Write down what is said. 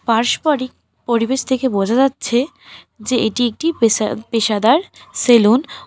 পার্সপারিক পরিবেশ থেকে বোঝা যাচ্ছে যে এটি একটি পেশা-পেশাদার সেলুন ।